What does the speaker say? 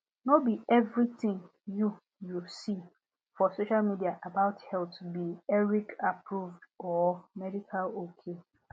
no be everthing you you see for social media about health be ericaapproved or medical ok